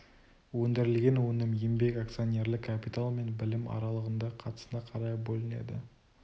өндірілген өнім еңбек акционерлік капитал мен білім аралығында қатысына қарай бөлінеді